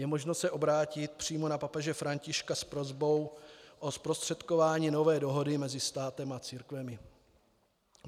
Je možné se obrátit přímo na papeže Františka s prosbou o zprostředkování nové dohody mezi státem a církvemi.